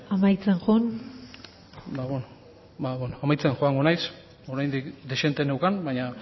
amaitzen joan ba beno amaitzen joango naiz oraindik dezente neukan baino